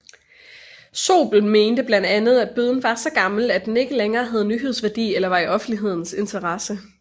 Zobel mente blandt andet at bøden var så gammel at den ikke længere havde nyhedsværdi eller var i offentlighedens interesse